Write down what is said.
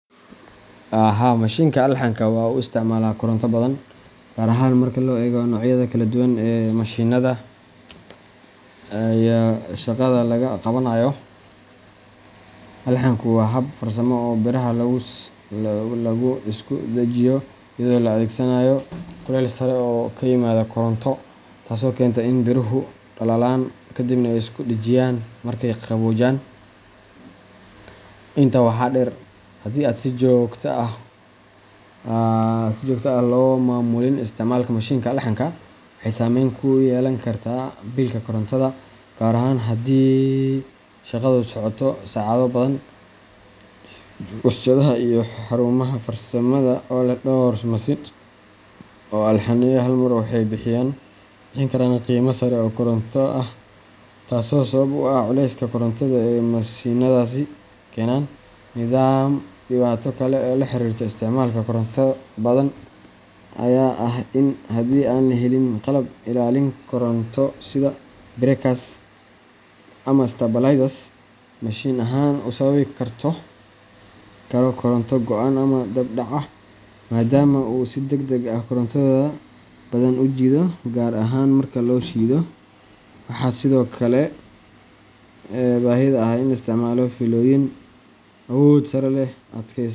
Haa, mashiinka alxanka waxa uu isticmaalaa koronto badan, gaar ahaan marka la eego noocyada kala duwan ee mashiinnada iyo shaqada laga qabanayo. Alxanku waa hab farsamo oo biraha lagu isku dhajiyo iyadoo la adeegsanayo kulayl sare oo ka yimaada koronto, taasoo keenta in biruhu dhalaalaan ka dibna ay isku dhajiyaan markay qaboojaan. Intaa waxaa dheer, haddii aan si joogto ah loo maamulin isticmaalka mashiinka alxanka, waxay saameyn ku yeelan kartaa biilka korontada, gaar ahaan haddii shaqadu socoto saacado badan. Warshadaha iyo xarumaha farsamada ee leh dhowr mashiin oo alxanaya hal mar waxay bixin karaan qiime sare oo koronto ah, taasoo sabab u ah culayska koronto ee mashiinnadaasi ku keenaan nidaamka. Dhibaato kale oo la xiriirta isticmaalka koronto badan ayaa ah in haddii aan la helin qalab ilaalin koronto sida breakers ama stabilizers, mashiinka alxanka uu sababi karo koronto go’an ama dab dhac ah, maadaama uu si degdeg ah koronto badan u jiido, gaar ahaan marka la shido. Waxaa sidoo kale jirta baahida ah in la isticmaalo fiilooyin awood sare leh .